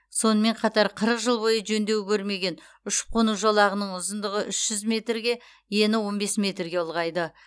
сонымен қатар қырық жыл бойы жөндеу көрмеген ұшып қону жолағының ұзындығы үш жүз метрге ені он бес метрге ұлғайды